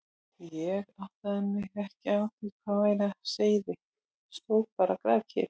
Ég áttaði mig ekki á því hvað væri á seyði og stóð bara grafkyrr.